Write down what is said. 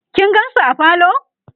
kin gansu a parlor?